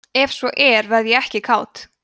ef svo er verð ég ekki kát